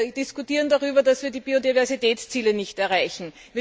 Wir diskutieren darüber, dass wir die Biodiversitätsziele nicht erreichen.